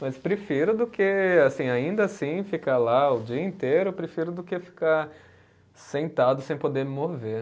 Mas prefiro do que, assim, ainda assim, ficar lá o dia inteiro, prefiro do que ficar sentado sem poder me mover.